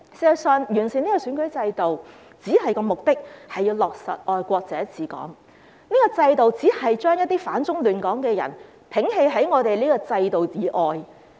事實上，完善選舉制度的目的只是要落實"愛國者治港"，這個制度只是將一些反中亂港的人摒棄於制度以外。